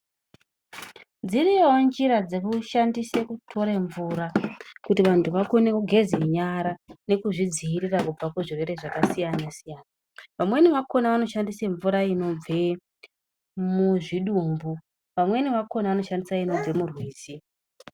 Dziriyowo njira dzekushwndise kutore mvura kuti vantu vakone kugeza nyara nekuzvidziirira kubva kuzvirwere zvakasiyana siyana vamweni vakona vanoshandisa mvura inobve muzvidumbu, vamweni vakona vanoshandisa inobve murwizi.